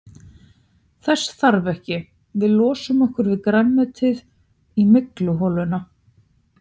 Þess þarf ekki, við losum okkur við grænmetið í mygluholuna.